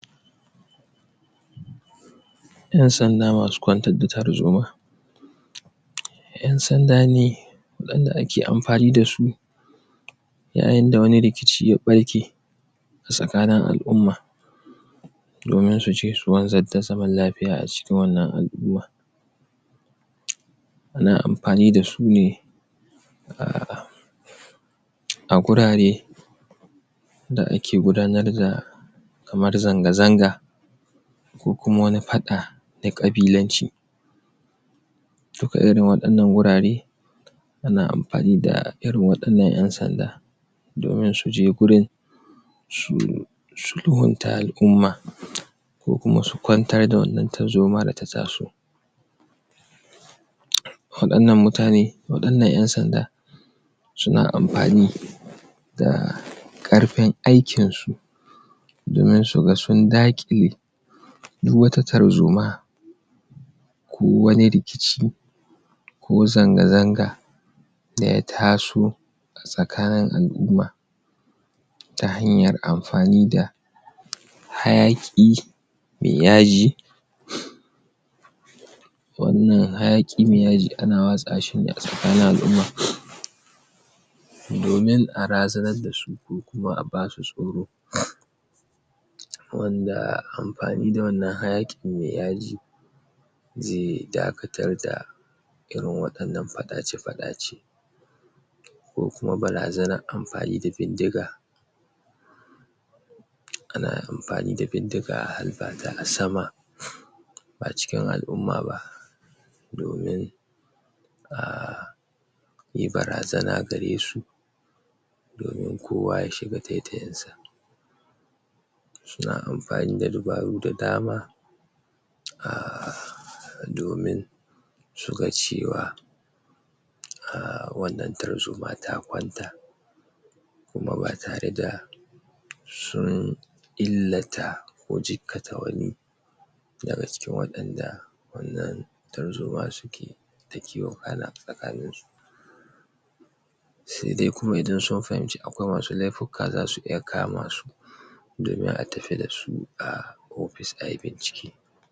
Ƴan'sanda masu kwantar da tarzoma ƴan sanda ne wanda ake amfani da su yayin da wani rikici ya ɓarke a tsakanin al'umma domin su je su wanzar da zaman lafiya a cikin wannan al'umma na amfani da su ne a a gurare da ake gudanar da kamar zanga-zanga ko kuma wani faɗa na ƙabilanci duka irin waɗannan wurare ana amfani da irin waɗannan ƴan sanda domin su je gurin su sulhunta al'umma ko kuma su kwantar da wannan tarzoma da ta taso waɗannan mutane, waɗannan ƴansanda suna amfani da ƙarfin aikin su domin su ga sun daƙile duk wata tarzoma ko wani rikici ko zanga-zanga da ya taso a tsakanin al'umma ta hanyar amfani da hayaƙi me yaji wannan hayaƙi me yaji ana watsa shi ne a tsakanin al'umma domin a razanar da su ko kuma a basu tsoro wanda amfani da wannan hayaƙin me yaji ze dakatar da irin waɗannan faɗace-faɗace ko kuma barazanar amfani da bindiga ana amfani da bindiga a halba a sama ba cikin al'umma ba domin a yi barazana gare su domin kowa ya shiga taitayin sa suna amfani da ribawul da dama a domin su ga cewa a wannan tarzoma ta kwanta kuma ba tare da sun illata ko zikkata wani daga cikin waɗanda wannan tarzoma su ke dake wakana a tsakanin su sai dai kuma idan sun fahimci akwai masu laifuka zasu iya kama su domin a tafi da su a office ai bincike.